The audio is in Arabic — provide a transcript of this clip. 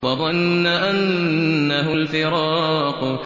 وَظَنَّ أَنَّهُ الْفِرَاقُ